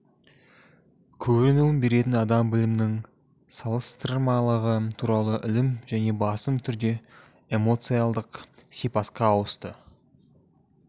көрінуін беретін адам білімінің салыстырмалығы туралы ілім және басым түрде эмоциалдық сипатқа ауысты